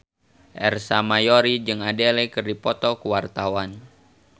Ersa Mayori jeung Adele keur dipoto ku wartawan